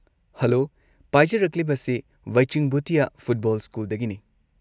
Hello, ꯄꯥꯏꯖꯔꯛꯂꯤꯕꯁꯦ Bhaichung Bhutia football ꯁ꯭ꯀꯨꯜꯗꯒꯤꯅꯤ꯫